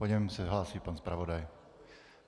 Po něm se hlásí pan zpravodaj.